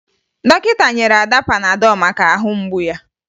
Dọkịta nyere Ada panadọ maka ahụ mgbu ya